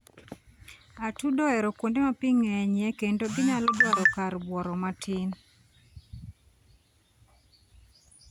Atudo ohero kuonde ma pi ng'enyie kendo ginyalo dwaro kar bworo matin.